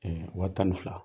wa tan ni fila.